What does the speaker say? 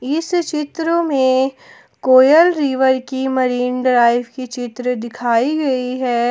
इस चित्र में कोयल रिवर की मरीन ड्राइव की चित्र दिखाई गई है।